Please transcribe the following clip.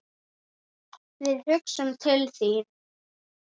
Við hugsum til þín.